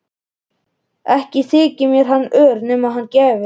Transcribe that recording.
Ekki þyki mér hann ör nema hann gefi.